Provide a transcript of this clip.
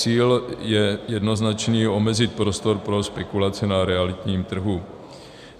Cíl je jednoznačný - omezit prostor pro spekulaci na realitním trhu.